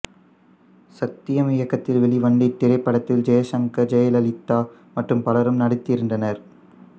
சத்யம் இயக்கத்தில் வெளிவந்த இத்திரைப்படத்தில் ஜெய்சங்கர் ஜெயலலிதா மற்றும் பலரும் நடித்திருந்தனர்